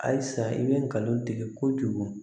Halisa i bɛ ngalon tigɛ kojugu